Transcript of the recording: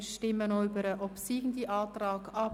Wir stimmen nun über den obsiegenden Antrag ab.